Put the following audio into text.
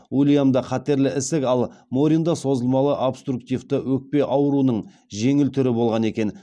уильямда қатерлі ісік ал моринда созылмалы обструктивті өкпе ауруының жеңіл түрі болған екен